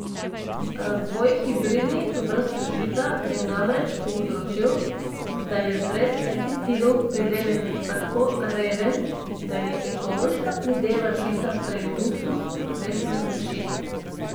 Razvoj hibridnih vrst žita je namreč povzročil, da je brez pesticidov pridelek tako reven, da je ekološka prideva žita prej luksuz kot resna rešitev.